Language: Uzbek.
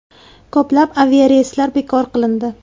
Ko‘plab aviareyslar bekor qilindi.